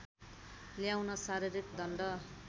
ल्याउन शारीरिक दण्ड